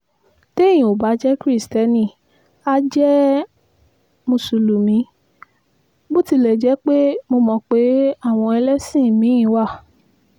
téèyàn ò bá jẹ́ kristiẹni àá jẹ́ mùsùlùmí bó tilẹ̀ jẹ́ pé mo mọ̀ pé àwọn ẹlẹ́sìn mi-ín wà